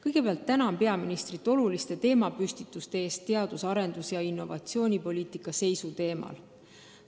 Kõigepealt tänan peaministrit oluliste teemapüstituste eest teadus- ja arendustegevust ning innovatsioonipoliitikat lahates!